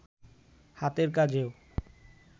হাতের কাজেও